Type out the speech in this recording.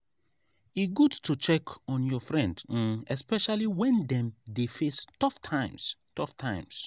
e good to check on your friend um especially when dem dey face tough times. tough times.